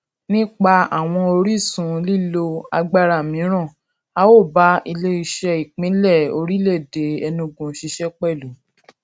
nípa àwọn orísun lílo agbára mìíràn a ó bá ileiṣẹ ìpínlẹ ìpínlẹ orílèèdè enugu ṣiṣé pẹlú